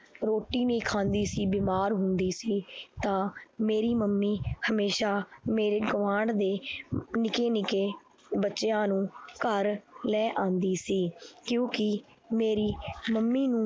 ਰੋਟੀ ਨੀ ਖਾਂਦੀ ਸੀ ਬਿਮਾਰ ਹੁੰਦੀ ਸੀ ਤਾਂ ਮੇਰੀ ਮੰਮੀ ਹਮੇਸ਼ਾ ਮੇਰੇ ਗੁਆਂਢ ਦੇ ਨਿੱਕੇ ਨਿੱਕੇ ਬੱਚਿਆਂ ਨੂੰ ਘਰ ਲੈ ਆਉਂਦੀ ਸੀ ਕਿਉਂਕਿ ਮੇਰੀ ਮੰਮੀ ਨੂੰ